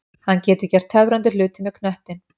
Hann getur gert töfrandi hluti með knöttinn.